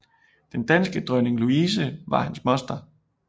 Den danske dronning Louise var hans moster